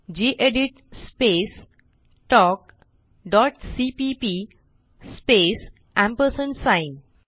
gedit space talk dot CPP space ampersand